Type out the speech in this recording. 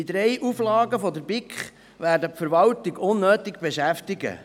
– Die drei Auflagen der BiK werden die Verwaltung unnötig beschäftigen.